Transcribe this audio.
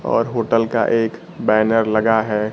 और होटल का एक बैनर लगा है।